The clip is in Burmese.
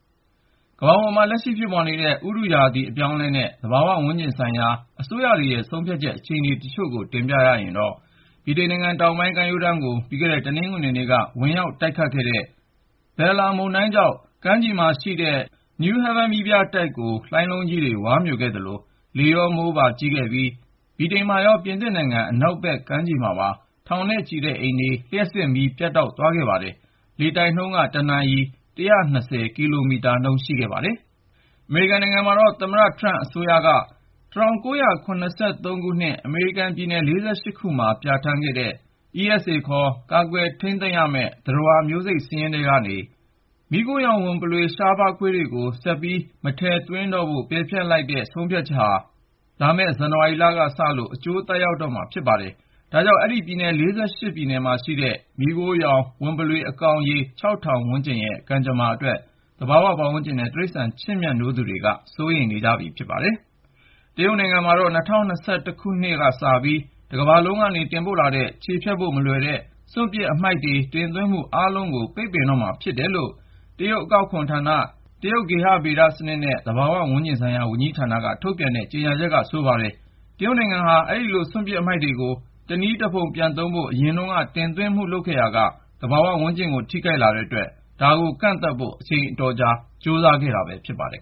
ကမ္ဘာပေါ်မှာ လက်ရှိ ဖြစ်ပေါ်နေတဲ့ ဥတု ရာသီဆိုင်ရာ အပြောင်းအလဲနဲ့ သဘာဝဝန်းကျင်ဆိုင်ရာ အစိုးရတွေရဲ့ ဆုံးဖြတ်ချက် အခြေအနေတေချို့ကို တင်ပြရရင်တော့- ဗြိတိန်နိုင်ငံတောင်ပိုင်း ကမ်းရိုးတန်းကို ပြီးခဲ့တဲ့ တနင်္ဂနွေနေ့က ဝင်ရောက်တိုက်ခတ်ခဲ့တဲ့ Bella မုန်တိုင်းကြောင့် ကမ်းခြေမှာရှိတဲ့ Newhaven မီးပြတိုက်ကို လှိုင်းလုံးကြီးတွေ ဝါးမြိုခဲ့သလို၊ လေရော မိုးပါ ကြီးခဲ့ပြီး ဗြိတိန်မှာရော ပြင်သစ်နိုင်ငံ အနောက်မြောက်ဘက်ခြမ်းက ထောင်ချီတဲ့ အိမ်တွေမှာပါ လျှပ်စစ်မီး ပြတ်တောက် သွားခဲ့ပါတယ်။ လေတိုက်နှုန်းက ၁နာရီ ကီလိုမီတာနှုန်း အထိ ရှိခဲ့တာပါ။ သမ္မတ ထရမ့်အစိုးရကတော့ ၁၉၇၃ ခုနှစ် အမေရိကန်က ပြည်နယ် ၄၈ ခုမှာ ပြဌာန်းထားတဲ့ ESA ခေါ် ကာကွယ်ထိန်းသိမ်းရမယ့် သတ္တဝါမျိုးစိတ် စာရင်းထဲကနေ မီးခိုရောင်ဝံပုလေ ွရှားပါးခွေးတွေကို ဆက်ပြီး မထည့်သွင်းတော့ဖို့ ပယ်ဖျက်လိုက်တဲ့ ဆုံးဖြတ်ချက်က လာမယ့် ဇန်နဝါရီကစလို့ အကျိုးသက်ရောက်တော့မှာ ဖြစ်ပါတယ်။ ဒါကြောင့် အဲဒီ ပြည်နယ် ၄၈ ခုမှာရှိတဲ့ မီးခိုးရောင် ဝံပုလွေ အကောင်ရေ ထောင်ဝန်းကျင်ရဲ့ ကံကြမ္မာအတွက် သဘာဝဝန်းကျင်နဲ့ တိရစ္ဆာန် ချစ်မြတ်နိုးသူတွေက စိုးရိမ် နေကြပါတယ်။ တရုတ်နိုင်ငံကတော့ ၂၀၂၁ ခုနှစ်ကစပြီး တကမ္ဘာလုံးက တင်ပို့လာတဲ့ ခြေဖျက်ဖို့မလွယ်တဲ့ စ ွန့်ပစ်အမှိုက် တင်သွင်းမှုအားလုံးကို ပိတ်ပင်တော့မှာ ဖြစ်တယ်လို့ တရုတ်နိုင်ငံ အကောက်ခွန်ဌာန ၊ တရုတ် ဂေဟ ဗေဒစနစ်နဲ့ သဘာဝဝန်းကျင်ဆိုင်ရာ ဝန်ကြီးဌာနက ထုတ်ပြန်တဲ့ ကြေညာချက်က ဆိုပါတယ်။ တရုတ်နိုင်ငံဟာ အဲဒီလို စွန့်ပစ်အမှိုက်တွေကို တနည်းတဖုံပြန်သုံးဖို့ အရင်တုန်းက တင်သွင်းမှု လုပ်ခဲ့ရာက သဘာဝ ပတ်ဝန်းကျင်ကို ထိခို်က်လာတဲ့အတွက် ဒါကို ကန့်သန့်ဖို့ အချိန်အတော်ကြာ ကြိုးစားခဲ့တာ ဖြစ်ပါတယ်